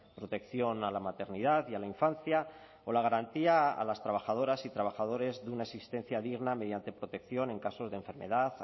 protección a la maternidad y a la infancia o la garantía a las trabajadoras y trabajadores de una existencia digna mediante protección en casos de enfermedad